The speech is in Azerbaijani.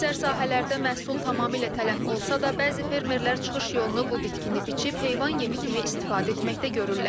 Əksər sahələrdə məhsul tamamilə tələf olsa da, bəzi fermerlər çıxış yolunu bu bitkini biçib heyvan yemi kimi istifadə etməkdə görürlər.